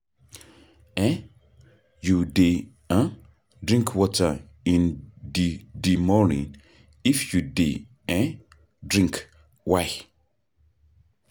um you dey um drink water in di di morning, if you dey um drink, why?